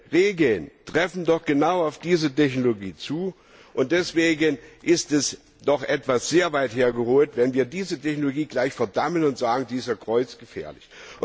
Diese Regeln treffen doch genau auf diese Technologie zu, und deswegen ist es doch etwas sehr weit hergeholt, wenn wir diese Technologie gleich verdammen und sagen, sie sei kreuzgefährlich.